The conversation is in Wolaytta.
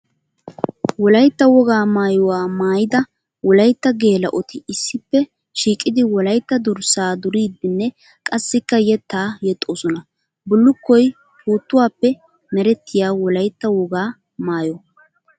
Wolaytta wogaa maayuwa maayidda wolaytta geela'otti issippe shiiqqiddi wolaytta durssa duriddinne qassikka yetta yexxosonna. Bulukkoy puutuwappe meretiya wolaytta wogaa maayo.